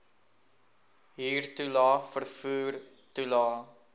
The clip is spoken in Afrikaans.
huurtoelae vervoer toelae